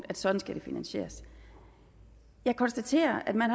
at sådan skal det finansieres jeg konstaterer at man